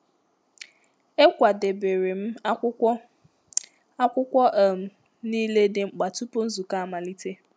Ekwadebere m akwụkwọ akwụkwọ um niile dị mkpa tupu nzukọ amalite